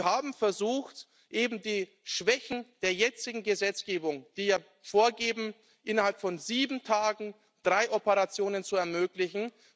Wir haben versucht, eben die Schwächen der jetzigen Gesetzgebung zu beseitigen, die vorgeben, innerhalb von sieben Tagen drei Operationen zu ermöglichen.